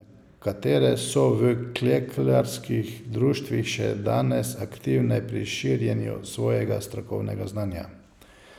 Nekatere so v klekljarskih društvih še danes aktivne pri širjenju svojega strokovnega znanja.